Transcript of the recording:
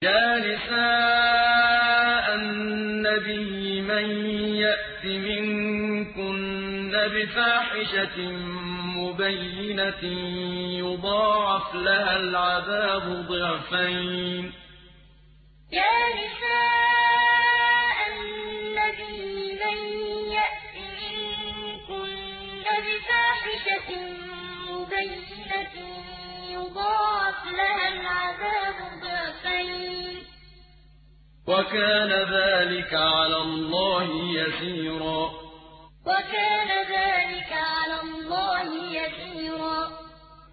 يَا نِسَاءَ النَّبِيِّ مَن يَأْتِ مِنكُنَّ بِفَاحِشَةٍ مُّبَيِّنَةٍ يُضَاعَفْ لَهَا الْعَذَابُ ضِعْفَيْنِ ۚ وَكَانَ ذَٰلِكَ عَلَى اللَّهِ يَسِيرًا يَا نِسَاءَ النَّبِيِّ مَن يَأْتِ مِنكُنَّ بِفَاحِشَةٍ مُّبَيِّنَةٍ يُضَاعَفْ لَهَا الْعَذَابُ ضِعْفَيْنِ ۚ وَكَانَ ذَٰلِكَ عَلَى اللَّهِ يَسِيرًا